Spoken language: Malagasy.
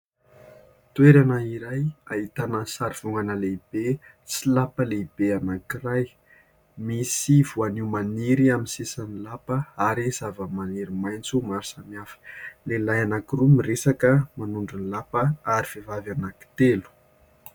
Toerana iray ahitana ny sary vongana lehibe sy lapa lehibe anankiray. Misy voanio maniry amin'ny sisiny lapa ary zava-maniry maintso maro samihafa. Lehilay anankiroa miresaka manondro ny lapa ary vehivavy anankitelo.